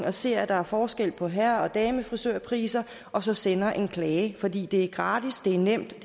og ser at der er forskel på herre og damefrisørpriser og så sender en klage fordi det er gratis nemt og